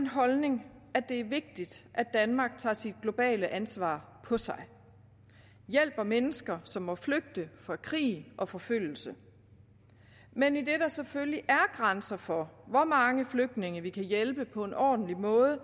holdning at det er vigtigt at danmark tager sit globale ansvar på sig og hjælper mennesker som må flygte fra krig og forfølgelse men idet der selvfølgelig er grænser for hvor mange flygtninge vi kan hjælpe på en ordentlig måde